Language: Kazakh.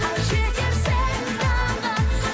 ай жетерсің тағы